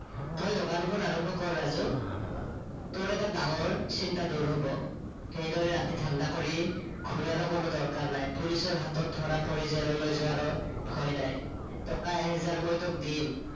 তই দোকানখন আৰম্ভ কৰ ৰাজু তোৰ এটা ডাঙৰ চিন্তা দূৰ হব। এইদৰে ৰাতি ধান্দা কৰি ঘুৰাৰো কোনো দৰকাৰ নাই police ৰ হাতত ধৰা পৰি জেললৈ যোৱাৰো ভয় নাই। টকা এহেজাৰ মই তোক দিম